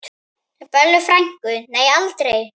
Bellu frænku, nei aldrei.